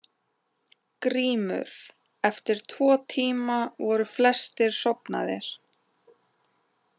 GRÍMUR: Eftir tvo tíma voru flestir sofnaðir.